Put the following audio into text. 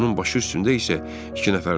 Onun başı üstündə isə iki nəfər durub.